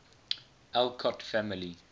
alcott family